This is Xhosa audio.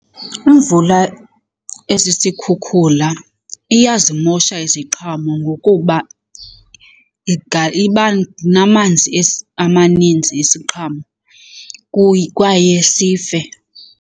Imvula esisikhukhula iyazimosha iziqhamo ngokuba iba namanzi amaninzi isiqhamo kwaye sife.